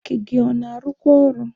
Bureki gị ọ na-arụkwa ọrụ?